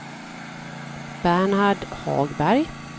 Bernhard Hagberg